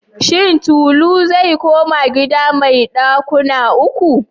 Shin Tolu zai koma gida mai ɗakuna ukun?